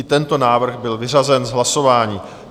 I tento návrh byl vyřazen z hlasování.